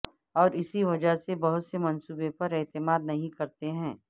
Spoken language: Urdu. اور اسی وجہ سے بہت سے منصوبے پر اعتماد نہیں کرتے ہیں